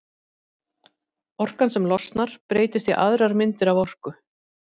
orkan sem losnar breytist í aðrar myndir af orku